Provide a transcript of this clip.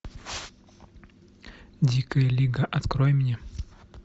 дикая лига открой мне